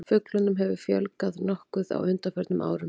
Fuglunum hefur fjölgað nokkuð á undanförnum árum.